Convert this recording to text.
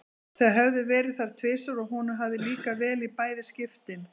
Þau höfðu verið þar tvisvar og honum hafði líkað vel í bæði skiptin.